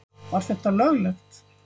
Var þetta löglegt?